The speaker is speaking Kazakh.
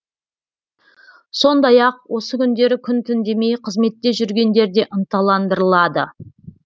сондай ақ осы күндері күн түн демей қызметте жүргендер де ынталандырылады